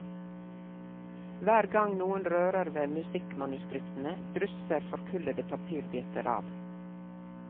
Hver gang noen rører ved musikkmanuskriptene, drysser forkullede papirbiter av.